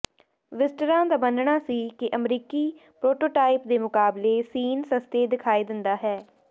ਵਿਜ਼ਟਰਾਂ ਦਾ ਮੰਨਣਾ ਸੀ ਕਿ ਅਮਰੀਕੀ ਪ੍ਰੋਟੋਟਾਈਪ ਦੇ ਮੁਕਾਬਲੇ ਸੀਨ ਸਸਤੇ ਦਿਖਾਈ ਦਿੰਦਾ ਹੈ